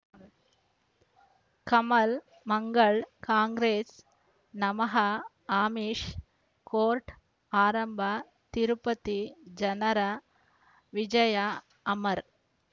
ಕಮಲ್ ಮಂಗಳ್ ಕಾಂಗ್ರೆಸ್ ನಮಃ ಅಮಿಷ್ ಕೋರ್ಟ್ ಆರಂಭ ತಿರುಪತಿ ಜನರ ವಿಜಯ ಅಮರ್